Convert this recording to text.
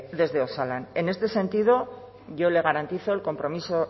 desde osalan en este sentido yo le garantizo el compromiso